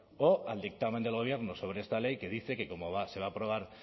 o al dictamen del gobierno sobre esta ley que dice que como se va a aprobar